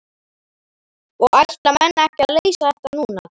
Og ætla menn ekki að leysa þetta núna?